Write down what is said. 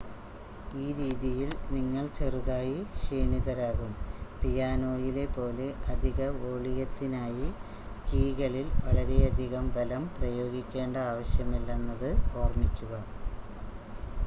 ഈ രീതിയിൽ നിങ്ങൾ ചെറുതായി ക്ഷീണിതരാകും പിയാനോയിലെ പോലെ അധിക വോളിയത്തിനായി കീകളിൽ വളരെയധികം ബലം പ്രയോഗിക്കേണ്ട ആവശ്യമില്ലെന്നത് ഓർമ്മിക്കുക